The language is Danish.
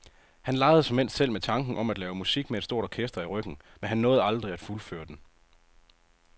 Han legede såmænd selv med tanken om at lave musik med et stort orkester i ryggen, men han nåede aldrig at fuldføre den.